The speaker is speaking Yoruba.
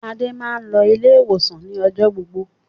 Adé máa ń lọ ilé-ìwòsàn ni ọjọ́ gbogbo.